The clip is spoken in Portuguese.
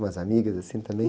Umas amigas assim também?